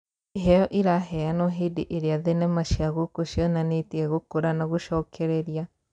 Iheo iraheanwo hĩndĩ ĩrĩa thenema cia gũkũ cionanĩtie gũkũra na gũcokereria.